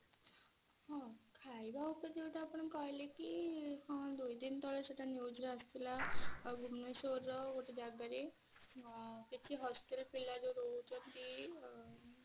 ହଁ ଖାଇବା ଉପରେ ଯଉଟା ଆପଣ କହିଲେ କି ହଁ ଦୁଇ ଦିନ ତଳେ ସେଟା news ରେ ଆସିଥିଲା ଆଉ ଭୁବନେଶ୍ବର ର ଗୋଟେ ଜାଗା ରେ ଅ କିଛି hostel ପିଲା ଯଉ ରହୁଛନ୍ତି ଆ